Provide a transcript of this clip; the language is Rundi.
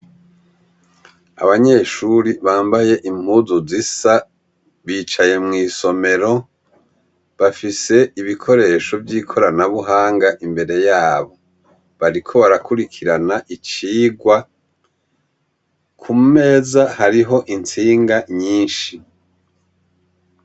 Abanyeshuri bambaye impuzu zisa, bicaye mw'isomero, bafise ibikoresho vy'ikoranabuhanga imbere yabo. Bariko barakurikirana icigwa, kumeza hariho intsinga nyinshi.